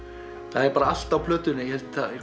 það er allt á plötunni ég held að